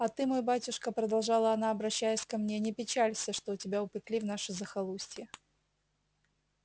а ты мой батюшка продолжала она обращаясь ко мне не печалься что тебя упекли в наше захолустье